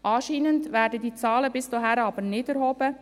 Anscheinend werden diese Zahlen bis dato aber nicht erhoben.